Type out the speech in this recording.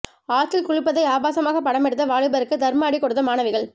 ஆற்றில் குளிப்பதை ஆபாசமாக படமெடுத்த வாலிபருக்கு தர்ம அடி கொடுத்த மாணவிகள்